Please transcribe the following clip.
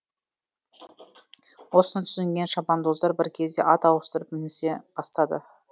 осыны түсінген шабандоздар бір кезде ат ауыстырып мінісе бастады